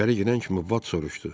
İçəri girən kimi Vat soruşdu.